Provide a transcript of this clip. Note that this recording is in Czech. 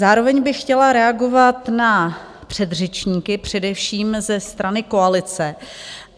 Zároveň bych chtěla reagovat na předřečníky, především ze strany koalice.